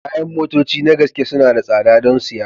Kayan motoci na gaske suna da tsada don siya